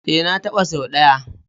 E, na taɓa sau ɗaya.